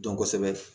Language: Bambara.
Dɔn kosɛbɛ